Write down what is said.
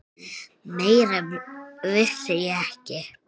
Meira vissi ég ekki.